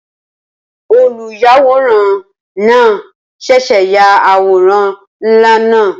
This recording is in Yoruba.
Olùyàwòrán náà ṣẹ̀ṣẹ̀ ya àwòrán ńlá náà